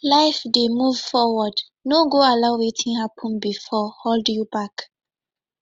life dey move forward no go allow wetin hapun bifor hold you back